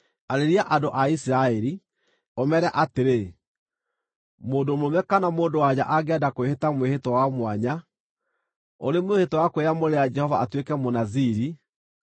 “Arĩria andũ a Isiraeli, ũmeere atĩrĩ: ‘Mũndũ mũrũme kana mũndũ-wa-nja angĩenda kwĩhĩta mwĩhĩtwa wa mwanya, ũrĩ mwĩhĩtwa wa kwĩyamũrĩra Jehova atuĩke Mũnaziri,